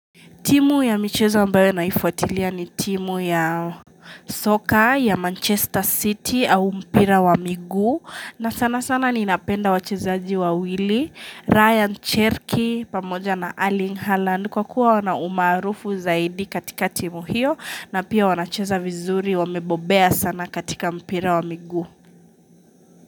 Timu ya michezo ambayo naifuatilia ni timu ya soka ya Manchester City au mpira wa miguu na sana sana ninapenda wachezaji wawilli, Ryan Cherki pamoja na Erling haaland kwa kuwa wana umaarufu zaidi katika timu hiyo na pia wanacheza vizuri wamebobea sana katika mpira wa miguu.